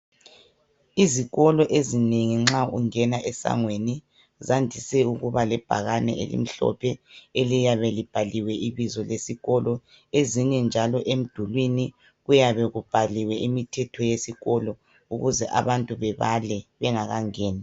Izikolo ezinengi nxa ungena esangweni zandise ukuba lebhakane elimhlophe, eliyabe libhaliwe ibizo lesikolo. Ezinye njalo emdulwini kuyabe kubhaliwe imithetho yesikolo ukuze abantu bebale bengakangeni.